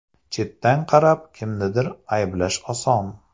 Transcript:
Chetdan qarab, kimnidir ayblash oson.